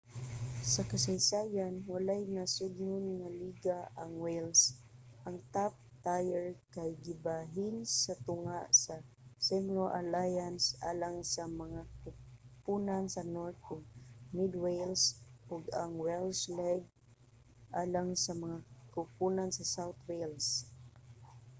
sa kasaysayan walay nasodnon nga liga ang wales. ang top tier kay gibahin sa tunga sa cymru alliance alang sa mga koponan sa north ug mid wales ug ang welsh league alang sa mga koponan sa south wales